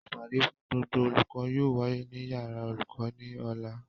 Ìpàdé fún gbogbo olùkọ́ yóò wáyé ní yàrá olùkọ́ ní Ọ̀la